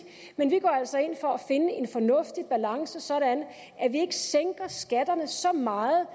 men vi går altså ind for at finde en fornuftig balance sådan at vi ikke sænker skatterne så meget